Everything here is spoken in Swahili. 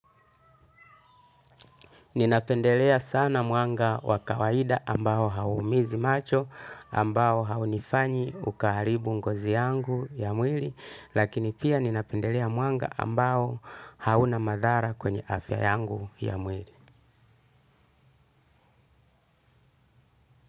Ninapendelea sana mwanga wa kawaida ambao hauumizi macho, ambao haunifanyi ukaharibu ngozi yangu ya mwili, lakini pia ninapendelea mwanga ambao hauna madhara kwenye afya yangu ya mwili.